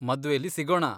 ಮದ್ವೆಲಿ ಸಿಗೋಣ!